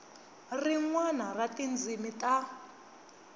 rin wana ra tindzimi ta